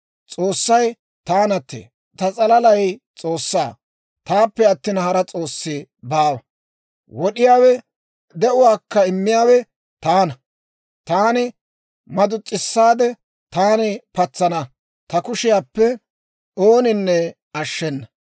S'oossay taanattee. Ta s'alalay S'oossaa. Taappe attina, hara s'oossi baawa. Wod'iyaawe, de'uwaakka immiyaawe taana; taani madus's'isaade, taani patsana; ta kushiyaappe ooninne ashshenna.